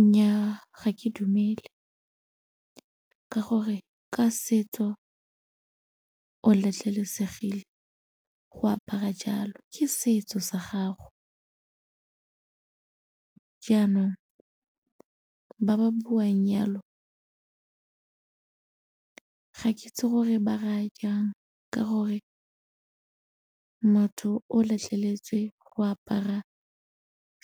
Nnyaa ga ke dumele ka gore ka setso o letlelesegile go apara jalo, ke setso sa gago jaanong ba ba buang yalo ga ke itse gore ba raya jang ka gore motho o letleletswe go apara